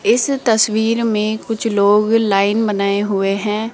इस तस्वीर में कुछ लोग लाइन बनाए हुए हैं।